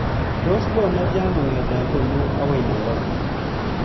Tos loo netya kongete konnyu agoi nairobi